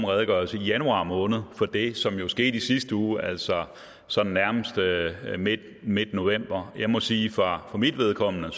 redegørelse i januar måned for det som jo skete i sidste uge altså sådan nærmest i midtnovember jeg må sige for mit vedkommende at